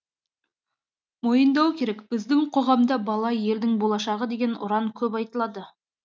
мойындау керек біздің қоғамда бала елдің болашағы деген ұран көп айтылады